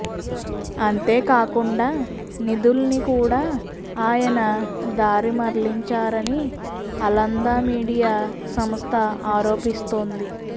అంతేకాకుండా నిధుల్ని కూడా ఆయన దారి మళ్లించారని అలంద మీడియా సంస్థ ఆరోపిస్తోంది